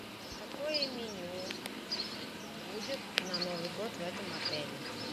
какое меню будет на новый год в этом отеле